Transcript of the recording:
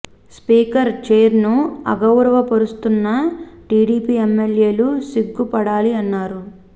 speaker చైర్ను అగౌరవ పరుస్తున్న టీడీపీ ఎమ్మెల్యేలు సిగ్గు పడాలని అన్నారు